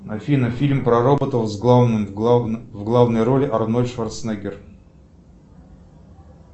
афина фильм про роботов в главной роли арнольд шварценеггер